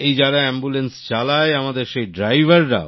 এই যারা অ্যাম্বুল্যান্স চালায় আমাদের সেই ড্রাইভার রাও